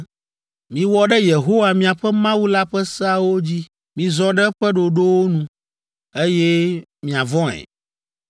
“Miwɔ ɖe Yehowa, miaƒe Mawu la ƒe seawo dzi. Mizɔ ɖe eƒe ɖoɖowo nu, eye miavɔ̃e,